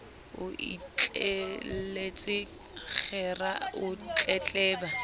o itjelletse kgera o tletleba